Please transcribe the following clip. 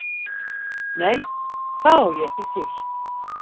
Nei, það á ég ekki til.